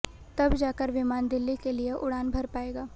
तब जाकर विमान दिल्ली के लिए उड़ान भर पाएगा